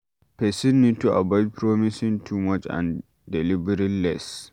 Person need to avoid promising too much and delivering less